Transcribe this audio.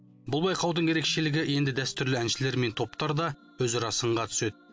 бұл байқаудың ерекшелігі енді дәстүрлі әншілер мен топтар да өзара сынға түседі